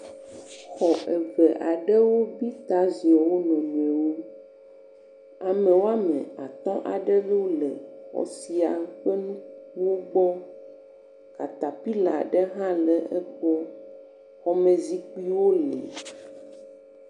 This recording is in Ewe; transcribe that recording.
Xɔ eve aɖewo bita ziɔ wo nɔnɔewo. Ame wɔme atɔ aɖewo le xɔ sia ƒe nu nugbɔ. Katapila aɖe hã le eƒom. Xɔmezikpuiwo li.